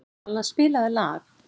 Alla, spilaðu lag.